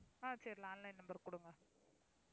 ஆஹ் சரி landline number கொடுங்க.